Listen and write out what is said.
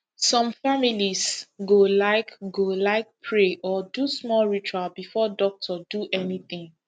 some families go like go like pray or do small ritual before doctor do anything